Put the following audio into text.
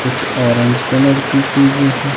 कुछ orange colour की चीजे हैं।